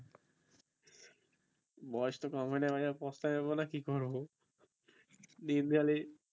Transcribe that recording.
বয়স টা তো কমে নাই ভায়া পস্তাইব না কি করব